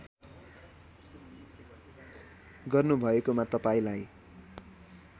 गर्नुभएकोमा तपाईँलाई